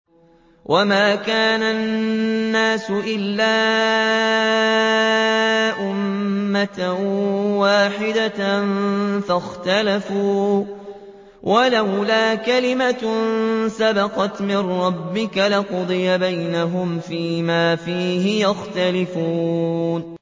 وَمَا كَانَ النَّاسُ إِلَّا أُمَّةً وَاحِدَةً فَاخْتَلَفُوا ۚ وَلَوْلَا كَلِمَةٌ سَبَقَتْ مِن رَّبِّكَ لَقُضِيَ بَيْنَهُمْ فِيمَا فِيهِ يَخْتَلِفُونَ